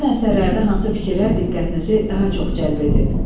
Həmin əsərlərdə hansı fikirlər diqqətinizi daha çox cəlb edib?